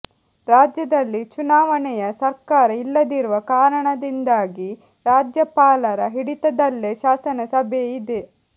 ರಾಜ್ಯದಲ್ಲಿ ಚುನಾವಣೆಯ ಸರ್ಕಾರ ಇಲ್ಲದಿರುವ ಕಾರಣದಿಂದಾಗಿ ರಾಜ್ಯಪಾಲರ ಹಿಡಿತದಲ್ಲೆ ಶಾಸನ ಸಭೆ ಇದೆ